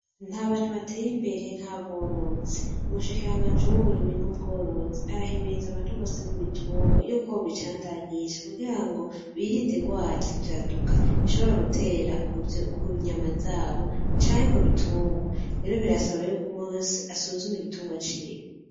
Nt'abantu bateyimbere nk'aborozi, ubushikiranganje w'uburimyi n'ubworozi arahimiriza abantu bose b'ibitungwa yuko bobicandagisha kugirango birinde ingwara z'ivyaduka kunyama zabo canke kubitungwa rero birasaba yuko umwe wese yosuzuma igiturwa ciwe.